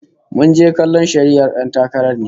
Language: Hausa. Muje kallon shari'ar 'yan takarar ne?